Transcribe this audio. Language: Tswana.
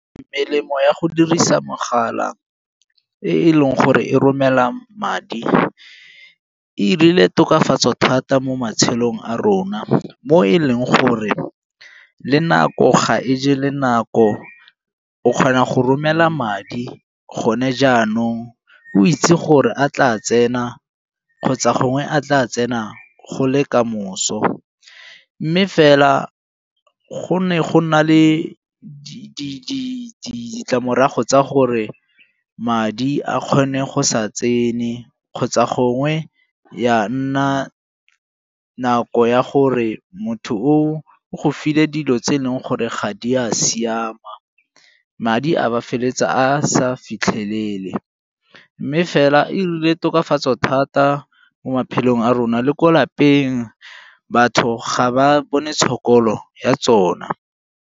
Melemo ya go dirisa mogala e e leng gore e romela madi e 'irile tokafatso thata mo matshelong a rona mo e leng gore le nako ga e je le nako, o kgona go romela madi gone jaanong o itse gore a tla tsena kgotsa gongwe a tla tsena go le kamoso. Mme fela go ne go na le ditlamorago tsa gore madi a kgone go sa tsene kgotsa gongwe ya nna nako ya gore motho o go file dilo tse e leng gore ga di a siama, madi a ba a feleletsa a sa a fitlhelele. Mme fela e 'irile tokafatso thata mo maphelong a rona le ko lapeng, batho ga ba bone tlhokomelo ya tsona.